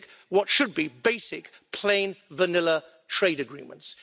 what should be basic plain vanilla' trade agreements.